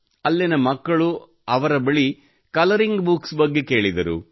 ಅಲ್ಲಿನ ಮಕ್ಕಳು ಅವಳ ಬಳಿ ಕಲರಿಂಗ್ ಬುಕ್ಸ್ ಬಗ್ಗೆ ಕೇಳಿದರು